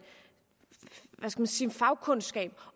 fagkundskab